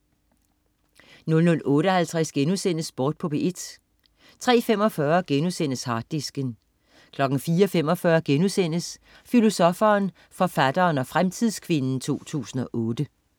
00.58 Sport på P1* 03.45 Harddisken* 04.45 Filosoffen, forfatteren og fremtidskvinden 2008*